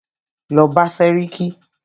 Lọ bá sẹ́ríkí!